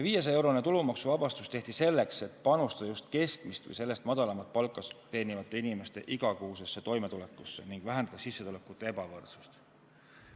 500-eurone tulumaksuvabastus tehti selleks, et panustada just keskmist või sellest madalamat palka teenivate inimeste igakuisesse toimetulekusse ning vähendada sissetulekute ebavõrdsust.